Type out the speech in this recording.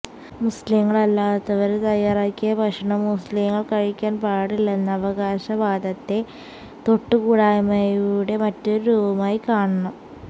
മുസ്ലിങ്ങള് അല്ലാത്തവര് തയാറാക്കിയ ഭക്ഷണം മുസ്ലിങ്ങള് കഴിക്കാന് പാടില്ലെന്ന അവകാശ വാദത്തെ തൊട്ടുകൂടായ്മയുടെ മറ്റൊരു രൂപമായി കാണണം